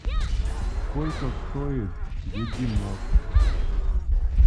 сколько стоит бегемот